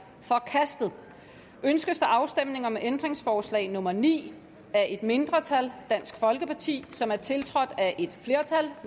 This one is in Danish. forkastet ønskes der afstemning om ændringsforslag nummer ni af et mindretal som er tiltrådt af